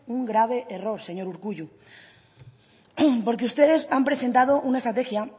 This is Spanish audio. un grave error señor urkullu porque ustedes han presentado una estrategia